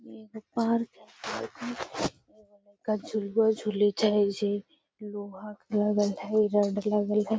एगो पार्क झुलवा झूले छे जे लोहा के लगल हाई रड लगल हाई I